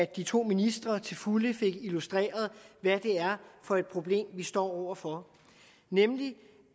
de to ministre til fulde fik illustreret hvad det er for et problem vi står over for nemlig